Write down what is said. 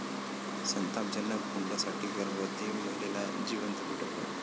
संतापजनक!, हुंड्यासाठी गर्भवती महिलेला जिवंत पेटवलं